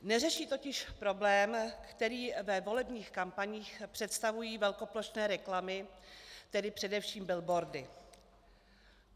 Neřeší totiž problém, který ve volebních kampaních představují velkoplošné reklamy, tedy především billboardy.